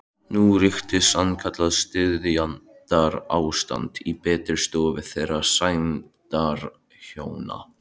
Nú ríkti sannkallað styrjaldarástand í betri stofu þeirra sæmdarhjóna